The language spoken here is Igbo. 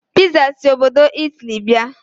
Piza si obodo Italy bịa.